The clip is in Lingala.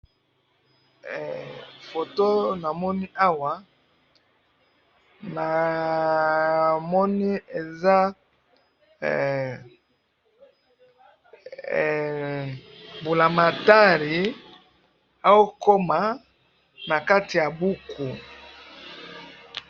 Photo namoni awa ,namoni eza mbulamatari ao koma na kati ya buku